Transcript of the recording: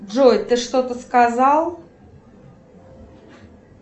джой ты что то сказал